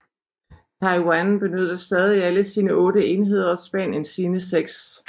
Taiwan benytter stadig alle sine otte enheder og Spanien sine seks